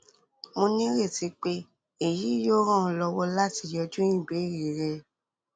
mo nireti pe eyi yoo ran ọ lọwọ lati yanju ibeere rẹ